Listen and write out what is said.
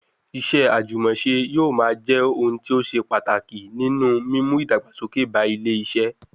Iṣẹ́ àjùmọ̀ṣe yóò máa jẹ́ ohun tí ó ṣe pàtàkì nínú mímú ìdàgbàsókè ba ilé iṣẹ́